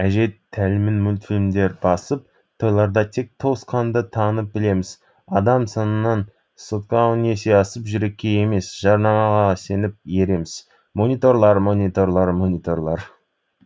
әже тәлімін мультфильмдер басып тойларда тек туысқанды танып білеміз адам санынан сотка он есе асып жүрекке емес жарнамаға сеніп ереміз мониторлар мониторлар мониторлар